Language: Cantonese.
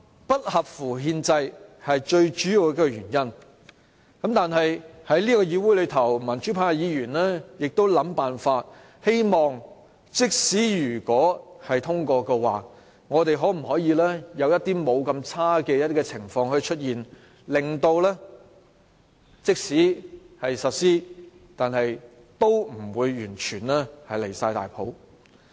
不合乎憲制是最主要的反對原因，但是，在這個議會，民主派議員都在想辦法，希望即使《條例草案》通過，也可有一些不太壞的情況出現；即使實施"一地兩檢"，也不至於太離譜。